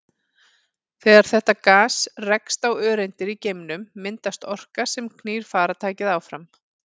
Þegar þetta gas rekst á öreindir í geimnum myndast orka sem knýr farartækið áfram.